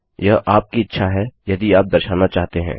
यह आपकी इच्छा है यदि आप दर्शाना चाहते हैं